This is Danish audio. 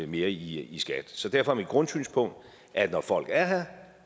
mere i skat så derfor er mit grundsynspunkt at når folk er her